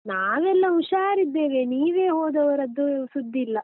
ನಾವೆಲ್ಲ ಹುಷಾರಿದ್ದೇವೆ, ನೀವೇ ಹೋದವರದ್ದು ಸುದ್ದಿಲ್ಲ.